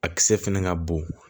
A kisɛ fɛnɛ ka bon